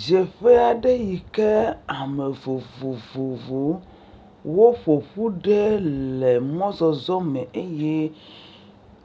Ɖzeƒea ɖe yike ame vovovowo ƒoƒu ɖe le mɔzɔzɔ me eye